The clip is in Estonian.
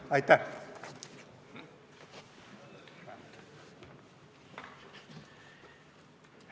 Aitäh!